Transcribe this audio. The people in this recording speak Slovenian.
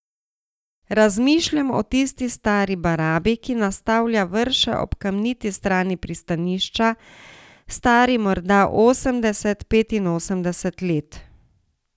Razmišljam o tisti stari barabi, ki nastavlja vrše ob kamniti strani pristanišča, stari morda osemdeset, petinosemdeset let.